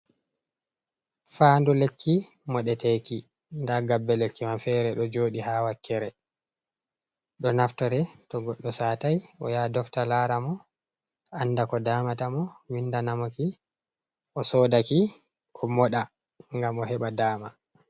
Fandu lekki moɗeteki. Nda gabbe lekki man feere ɗo jooɗi haa wakkere, ɗo naftore to goɗɗo saatai, o yaha dofta laara mo, anda ko daamata mo, winda namoki, o sodaki, o moɗa ngam o heɓa daama.